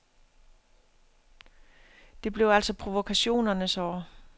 Det blev altså provokationernes år.